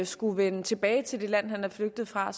skulle vende tilbage til det land han er flygtet fra